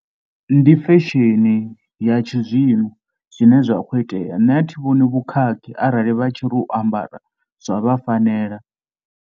Ndi fesheni ya tshi zwino zwine zwa khou itea, nṋe a thi vhoni vhukhakhi arali vha tshi ri u ambara zwa vha fanela.